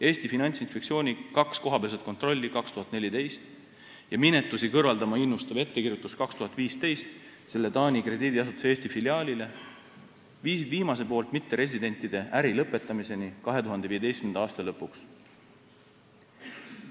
Eesti Finantsinspektsiooni kaks kohapealset kontrolli 2014. aastal ja minetusi kõrvaldama innustav ettekirjutus 2015. aastal selle Taani krediidiasutuse Eesti filiaalile viisid viimase mitteresidentide äri lõpetamiseni 2015. aasta lõpuks.